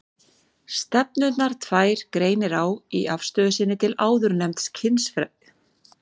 Stefnurnar tvær greinir á í afstöðu sinni til áðurnefnds kynfrelsis.